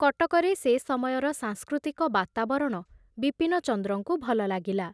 କଟକରେ ସେ ସମୟର ସାଂସ୍କୃତିକ ବାତାବରଣ ବିପିନଚନ୍ଦ୍ରଙ୍କୁ ଭଲ ଲାଗିଲା।